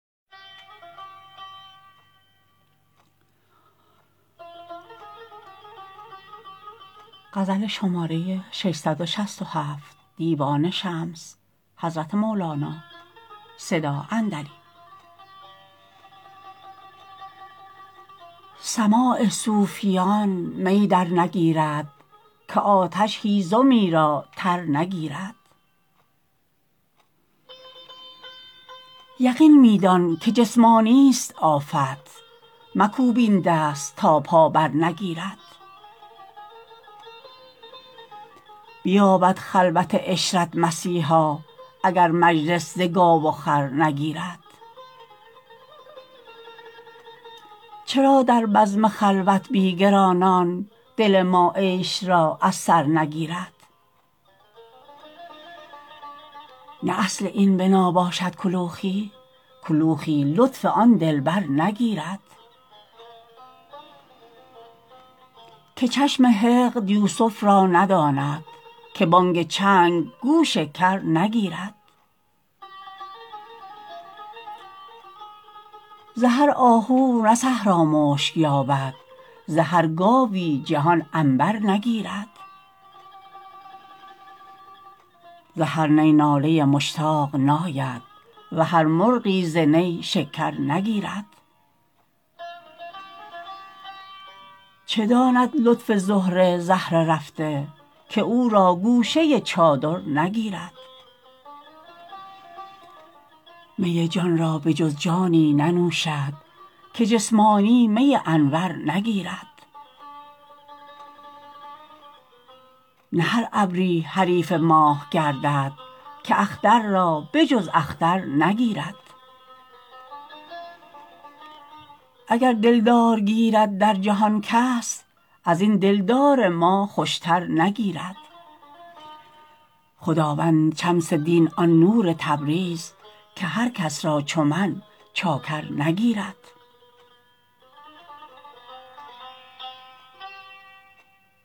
سماع صوفیان می درنگیرد که آتش هیزمی را تر نگیرد یقین می دانک جسمانیست آفت مکوپ این دست تا پا برنگیرد بیابد خلوت عشرت مسیحا اگر مجلس ز گاو و خر نگیرد چرا در بزم خلوت بی گرانان دل ما عیش را از سر نگیرد نه اصل این بنا باشد کلوخی کلوخی لطف آن دلبر نگیرد که چشم حقد یوسف را نداند که بانگ چنگ گوش کر نگیرد ز هر آهو نه صحرا مشک یابد ز هر گاوی جهان عنبر نگیرد ز هر نی ناله مشتاق ناید و هر مرغی ز نی شکر نگیرد چه داند لطف زهره زهره رفته که او را گوشه چادر نگیرد می جان را به جز جانی ننوشد که جسمانی می انور نگیرد نه هر ابری حریف ماه گردد که اختر را به جز اختر نگیرد اگر دلدار گیرد در جهان کس از این دلدار ما خوشتر نگیرد خداوند شمس دین آن نور تبریز که هر کس را چو من چاکر نگیرد